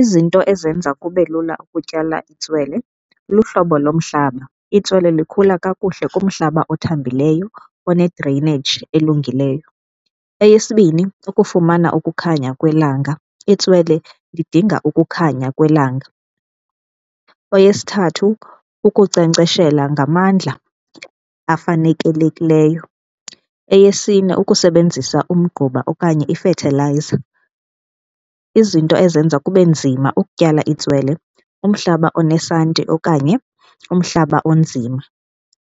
Izinto ezenza kube lula ukutyala itswele luhlobo lomhlaba. Itswele likhula kakuhle kumhlaba othambileyo one-drainage elungileyo. Eyesibini, ukufumana ukukhanya kwelanga. Itswele lidinga ukukhanya kwelanga. Eyesithathu, ukunkcenkceshela ngamandla afanelekileyo. Eyesine, ukusebenzisa umgquba okanye ifethilayiza. Izinto ezenza kube nzima ukutyala itswele umhlaba onesanti okanye umhlaba onzima,